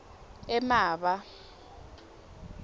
emaba